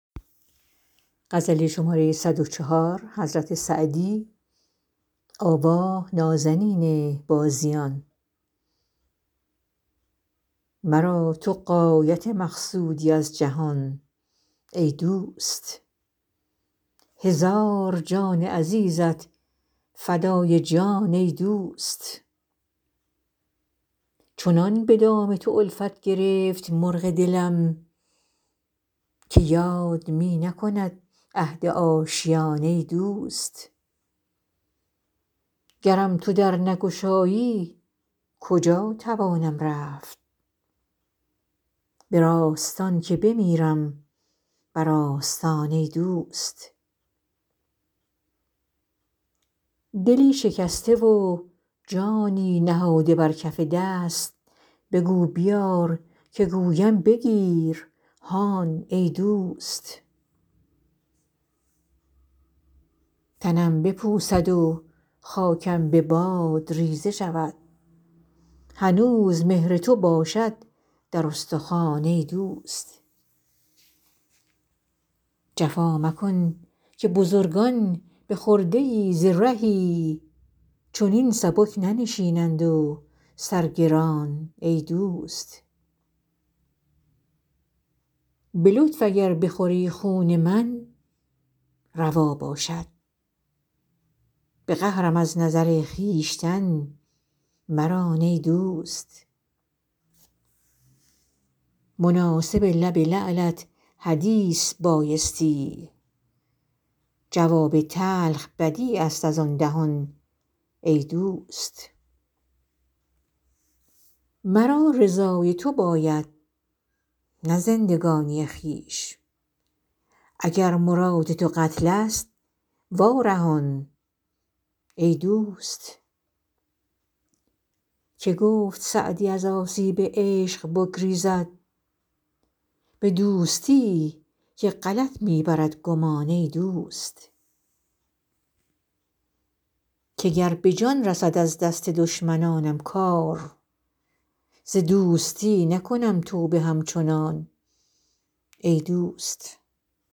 مرا تو غایت مقصودی از جهان ای دوست هزار جان عزیزت فدای جان ای دوست چنان به دام تو الفت گرفت مرغ دلم که یاد می نکند عهد آشیان ای دوست گرم تو در نگشایی کجا توانم رفت به راستان که بمیرم بر آستان ای دوست دلی شکسته و جانی نهاده بر کف دست بگو بیار که گویم بگیر هان ای دوست تنم بپوسد و خاکم به باد ریزه شود هنوز مهر تو باشد در استخوان ای دوست جفا مکن که بزرگان به خرده ای ز رهی چنین سبک ننشینند و سر گران ای دوست به لطف اگر بخوری خون من روا باشد به قهرم از نظر خویشتن مران ای دوست مناسب لب لعلت حدیث بایستی جواب تلخ بدیع است از آن دهان ای دوست مرا رضای تو باید نه زندگانی خویش اگر مراد تو قتل ست وا رهان ای دوست که گفت سعدی از آسیب عشق بگریزد به دوستی که غلط می برد گمان ای دوست که گر به جان رسد از دست دشمنانم کار ز دوستی نکنم توبه همچنان ای دوست